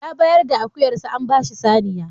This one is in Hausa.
Ya bayar da akuyarsa an ba shi saniya.